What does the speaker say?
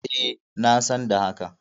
E, na san da haka.